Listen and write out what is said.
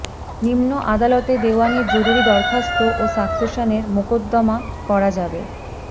নিম্ন আদালতে দেওয়ানির জরুরি দরখাস্ত ও সাকসেশনের মোকদ্দমা করা যাবে